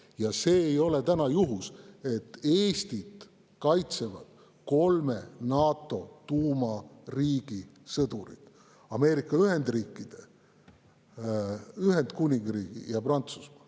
Ja see ei ole täna juhus, et Eestit kaitsevad kolme NATO tuumariigi sõdurid: Ameerika Ühendriikide, Ühendkuningriigi ja Prantsusmaa.